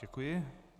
Děkuji.